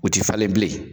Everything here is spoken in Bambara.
U ti falen bilen